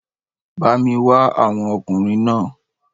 Bá mi wá àwọn ọkùnrin náà